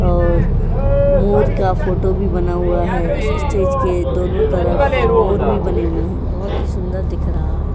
और मोर का फोटो भी बना हुआ है। स्टेज के दोनों तरफ मोर भी बने हुए हैं। बहुत ही सुंदर दिख रहा है।